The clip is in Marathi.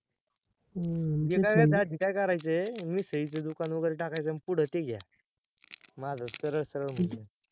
जे काही आहे त्यात decide करायचय, मिसळी च दुकान वगेरे टाकायच मग पुढ ते घ्या माझ सरळ सरळ होऊन जाईल